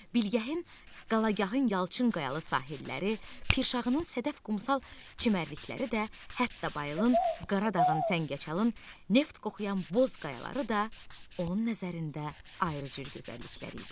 Bilgəhin, Qalagahın yalçın qayalı sahilləri, Pirşağının sədən qumsal çimərlikləri də, hətta Bayılın, Qaradağın, Səngəçalın neft qoxuyan boz qayaları da onun nəzərində ayrı cür gözəlliklər idi.